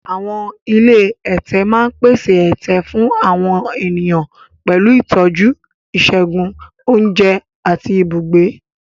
Àwọn ilé ẹ̀tẹ̀ máa ń pèsè ẹ̀tẹ̀ fún àwọn ènìyàn pẹ̀lú ìtọ́jú ìṣègùn, oúnjẹ, àti ibùgbé.